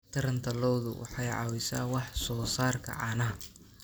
Taranta lo'du waxay caawisaa wax soo saarka caanaha.